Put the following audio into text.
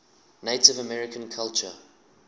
native american culture